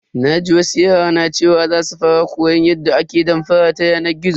Naji wasu yara na cewa za su fara koyan yadda ake damfara ta yanar gizo.